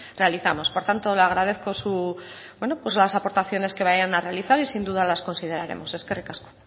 realizamos por tanto le agradezco las aportaciones que vayan a realizar y sin duda las consideraremos eskerrik asko